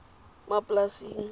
maplasing